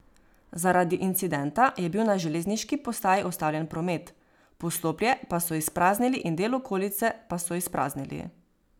Zaradi incidenta je bil na železniški postaji ustavljen promet, poslopje pa so izpraznili in del okolice pa so izpraznili.